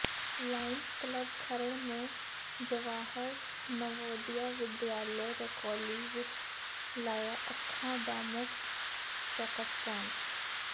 Lions Club Kharar ਨੇ ਜਵਾਹਰ ਨਵੋਦਿਆ ਵਿਦਿਆਲਾ ਰਕੌਲੀ ਵਿੱਚ ਲਾਇਆ ਅੱਖਾਂ ਦਾ ਮੁਫ਼ਤ ਚੈੱਕਅਪ ਕੈਂਪ